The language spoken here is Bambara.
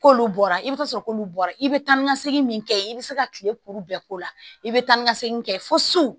K'olu bɔra i bɛ taa sɔrɔ k'olu bɔra i bɛ taa ni ka segin min kɛ i bɛ se ka kile puruke bɛɛ k'o la i bɛ taa ni ka segin kɛ fo su